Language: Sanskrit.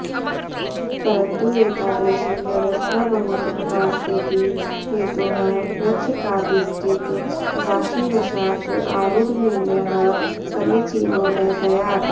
परन्तु एतादृशी व्यवस्था बहुत्र नास्तीति हेतोः पृच्छकाधिष्ठित राशिवशात् आरूढनिर्णयः समीचीनो न स्यात्